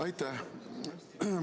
Aitäh!